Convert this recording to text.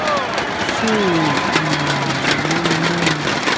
ṣé o ò um lè mẹ́nu mọ́ ni